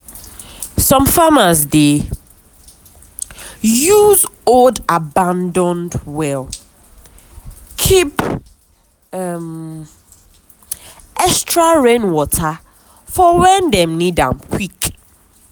some farmers dey use old abandoned well keep um extra rain water for when dem need am quick.